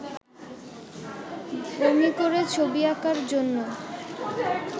বমি করে ছবি আঁকার জন্য